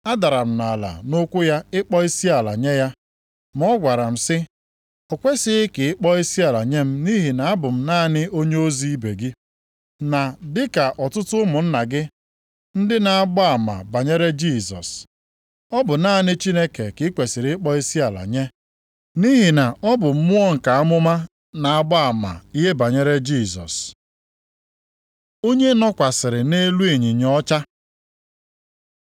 Adara m nʼala nʼụkwụ ya ịkpọ isiala nye ya, ma ọ gwara m sị, “O kwesighị ka ị kpọọ isiala nye m nʼihi na abụ m naanị onyeozi ibe gị, na dịka ọtụtụ ụmụnna gị ndị na-agba ama banyere Jisọs. Ọ bụ naanị Chineke ka i kwesiri ịkpọ isiala nye. Nʼihi na ọ bụ Mmụọ nke amụma na-agba ama ihe banyere Jisọs.” Onye nọkwasịrị nʼelu ịnyịnya ọcha